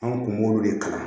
An kun b'olu de kalan